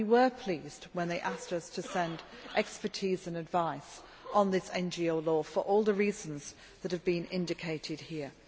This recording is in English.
We were pleased when they asked us to send expertise and advice on this NGO law for all the reasons that have been indicated here.